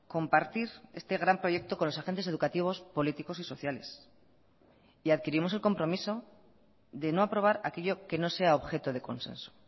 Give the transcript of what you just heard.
compartir este gran proyecto con los agentes educativos políticos y sociales y adquirimos el compromiso de no aprobar aquello que no sea objeto de consenso